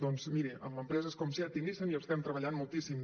doncs miri amb empreses com seat i nissan hi estem treballant moltíssim